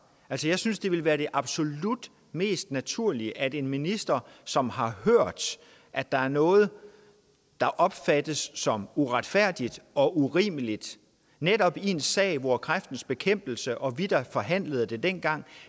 altså jeg synes det ville være det absolut mest naturlige at det skal en minister som har hørt at der er noget der opfattes som uretfærdigt og urimeligt netop i en sag hvor kræftens bekæmpelse og vi der forhandlede det dengang